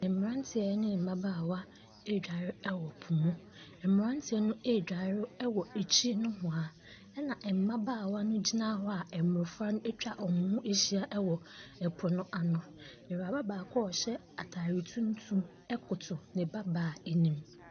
Mmeranteɛ ne mmabaawa redware wa po mu. Mmerantea no redware wɔ akyiri nohoa, ɛna mmabaawa no gyina hɔ a mmɔfra no atwa wɔn ho ahyia wɔ po no ano. Awuraba baako a ɔhyɛ atade tuntum koto ne ba baa anim.